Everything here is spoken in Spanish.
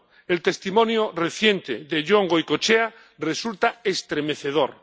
El testimonio reciente de Yon Goicochea resulta estremecedor.